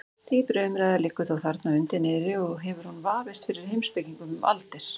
Dýpri umræða liggur þó þarna undir niðri og hefur hún vafist fyrir heimspekingum um aldir.